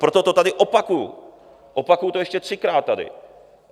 Proto to tady opakuju, opakuju to ještě třikrát tady.